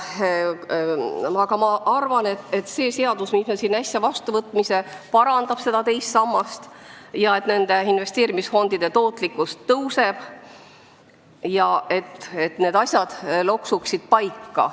Aga ma arvan, et see seadus parandab seda teise samba süsteemi, investeerimisfondide tootlikkus tõuseb ja need asjad loksuvad paika.